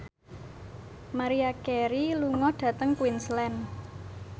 Maria Carey lunga dhateng Queensland